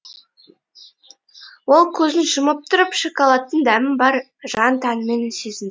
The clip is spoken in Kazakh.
ол көзін жұмып тұрып шоколадтың дәмін бар жан тәнімен сезінді